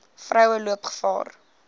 vroue loop gevaar